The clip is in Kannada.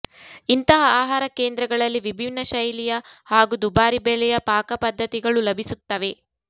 ಇಂತಹ ಆಹಾರ ಕೇಂದ್ರಗಳಲ್ಲಿ ವಿಭಿನ್ನ ಶೈಲಿಯ ಹಾಗೂ ದುಬಾರಿ ಬೆಲೆಯ ಪಾಕಪದ್ಧತಿಗಳು ಲಭಿಸುತ್ತವೆ